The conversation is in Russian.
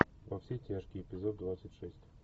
во все тяжкие эпизод двадцать шесть